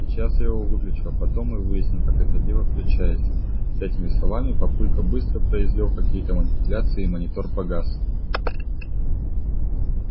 сейчас я его выключу а потом мы выясним как это дело включается с этими словами папулька быстро произвёл какие-то манипуляции и монитор погас